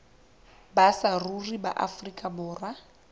ba saruri ba afrika borwa